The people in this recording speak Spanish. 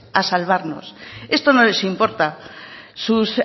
a salvarnos esto no les importa sus